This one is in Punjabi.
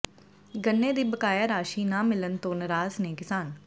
ਗੰਨੇ ਦੀ ਬਕਾਇਆ ਰਾਸ਼ੀ ਨਾ ਮਿਲਣ ਤੋਂ ਨਰਾਜ਼ ਨੇ ਕਿਸਾਨ